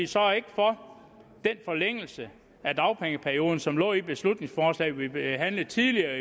så ikke for den forlængelse af dagpengeperioden som lå i det beslutningsforslag vi behandlede tidligere